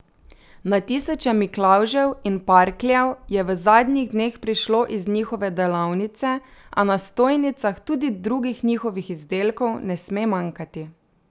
Na tisoče miklavžev in parkljev je v zadnjih dneh prišlo iz njihove delavnice, a na stojnicah tudi drugih njihovih izdelkov ne sme manjkati.